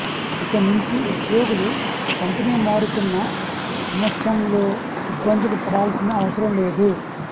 ఇకనుంచి ఉద్యోగులు కంపెనీ మారుతున్న సమస్యంలో ఇబ్బందులు పడాల్సిన అవసరం లేదు